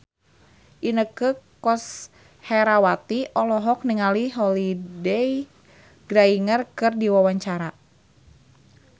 Inneke Koesherawati olohok ningali Holliday Grainger keur diwawancara